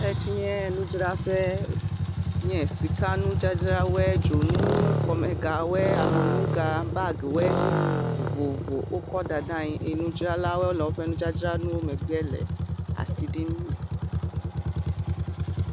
Esi nye nudzraƒe nye sika nudzadzrawoe, dzonu, kɔmegawoe, alɔnuga, bagiwo vovovo wokɔ da ɖe anyi eye nudzralawoe le woƒe nudzadzrawo megbe le asi ɖim.